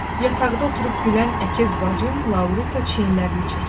Yataqda oturub gülən əkiz bacım Laurita çiyinlərini çəkir.